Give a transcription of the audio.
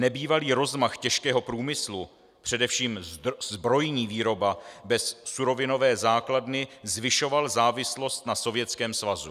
Nebývalý rozmach těžkého průmyslu, především zbrojní výroba bez surovinové základny, zvyšoval závislost na Sovětském svazu.